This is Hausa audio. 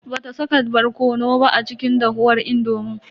Bata saka barkono ba a cikin dahuwar indomin.